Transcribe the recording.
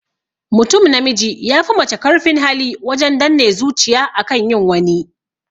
Mutum namiji ya fi mace karfin hali wajen danne zuciya akan yin wani